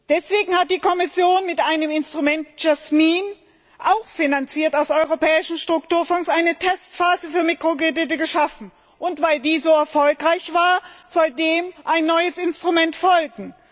Deswegen hat die Kommission mit einem Instrument JASMINE auch finanziert aus europäischen Strukturfonds eine Testphase für Mikrokredite geschaffen. Und weil die so erfolgreich war, soll dem ein neues Instrument folgen.